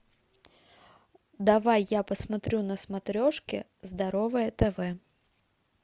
давай я посмотрю на смотрешке здоровое тв